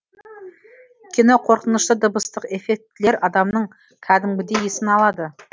кино қорқынышты дыбыстық эффектілер адамның кәдімгідей есін алады